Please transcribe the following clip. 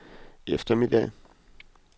eftermiddag